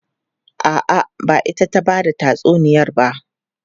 A'a, ba ita ta ba da tatsuniyar ba.